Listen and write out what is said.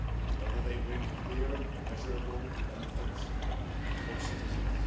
Rather, they bring clear, measurable benefits for citizens.